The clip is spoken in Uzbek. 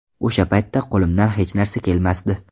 O‘sha paytda qo‘limdan hech narsa kelmasdi.